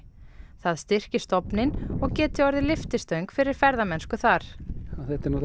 það styrki stofninn og geti orðið lyftistöng fyrir ferðamennsku þar þetta er